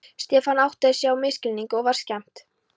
Stefán áttaði sig á misskilningnum og var skemmt.